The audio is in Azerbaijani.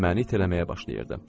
Məni itələməyə başlayırdı.